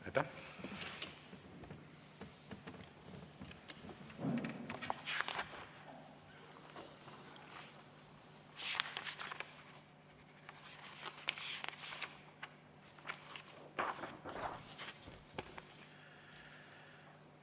Aitäh!